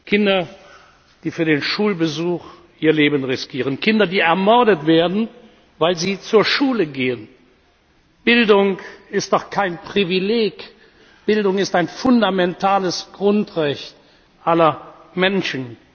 Kinder, die für den Schulbesuch ihr Leben riskieren, Kinder, die ermordet werden, weil sie zur Schule gehen. Bildung ist doch kein Privileg, Bildung ist ein fundamentales Grundrecht aller Menschen!